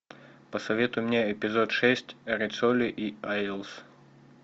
посоветуй мне эпизод шесть риццоли и айлс